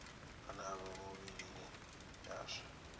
ane a vha mivhilini yashu